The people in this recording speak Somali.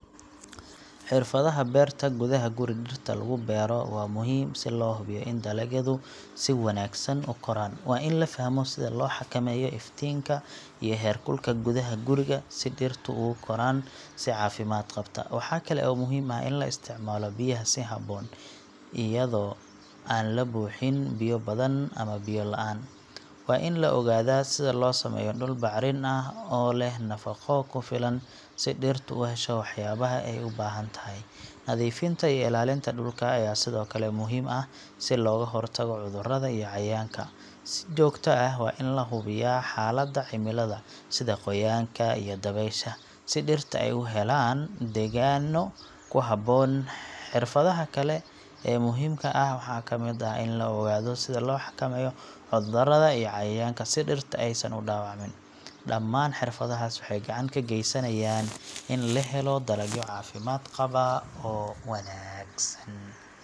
Xirfadaha beerta gudaha guri dhirta lagu beero waa muhiim si loo hubiyo in dalagyadu si wanaagsan u koraan. Waa in la fahmo sida loo xakameeyo iftiinka iyo heerkulka gudaha guriga si dhirtu ugu koraan si caafimaad qabta. Waxaa kale oo muhiim ah in la isticmaalo biyo si habboon, iyadoo aan la buuxin biyo badan ama biyo la'aan. Waa in la ogaadaa sida loo sameeyo dhul bacrin ah oo leh nafaqo ku filan si dhirtu u hesho waxyaabaha ay u baahan tahay. Nadiifinta iyo ilaalinta dhulka ayaa sidoo kale muhiim ah si looga hortago cudurrada iyo cayayaanka. Si joogto ah waa in la hubiyaa xaaladda cimilada, sida qoyaanka iyo dabaysha, si dhirta ay u helaan deegaanno ku habboon. Xirfadaha kale ee muhiimka ah waxaa ka mid ah in la ogaado sida loo xakameeyo cudurrada iyo cayayaanka si dhirta aysan u dhaawacmin. Dhammaan xirfadahaas waxay gacan ka geysanayaan in la helo dalagyo caafimaad qaba oo wanaagsan.